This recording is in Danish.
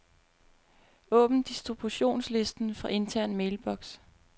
Åbn distributionsliste fra intern mailbox.